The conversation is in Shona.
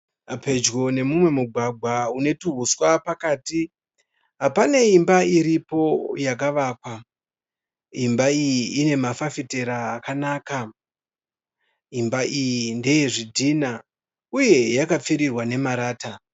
Pedyo nemumwe mugwagwa une tuhuswa pakati pane imba iripo yakavakwa. Imba iyi ine mafafitera akanaka. Imba iyi ndeye zvidhinha uye yakapfirirwa nemarata.